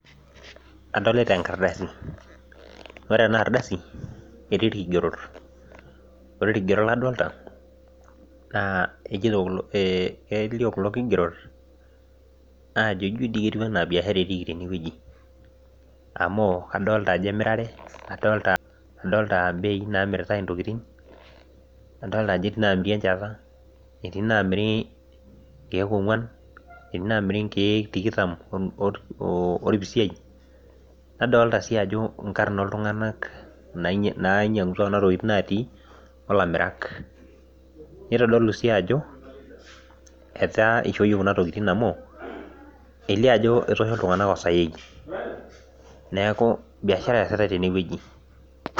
adolita enkardasi ore ena adasi naa ketii ikigerot, ore ikigerot ladoolta naa ijo dii biashara etiki teweji, amu kadolta ajo emirare abei naa mirta intokitin , adolta ajo etii inamiri enchata, etii inamiri inkeek ong'uan , etii namiri inkeek tikitam olpisiai, nadolta sii ajo inkarn oltung'anak najiang; utua naatii, olamirak nitodolu sii ajo etaa ishooyie kuna tokitin amu, elio ajo etoosho iltunganak osain neeku biashara esitae tene.